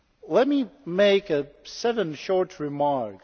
Let me make seven short remarks.